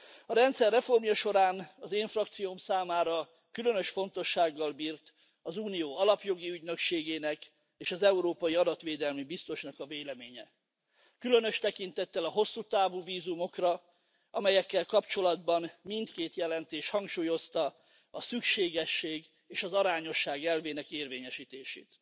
A rendszer reformja során az én frakcióm számára különös fontossággal bírt az Unió alapjogi ügynökségének és az európai adatvédelmi biztosnak a véleménye, különös tekintettel a hosszú távú vízumokra, amelyekkel kapcsolatban mindkét jelentés hangsúlyozta a szükségesség és az arányosság elvének érvényesítését.